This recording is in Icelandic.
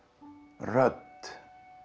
rödd